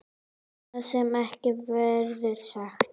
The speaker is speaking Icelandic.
Það sem ekki verður sagt